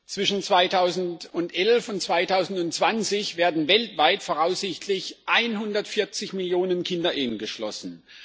Zwischen 2011 und 2020 werden weltweit voraussichtlich 140 Millionen Kinderehen geschlossen.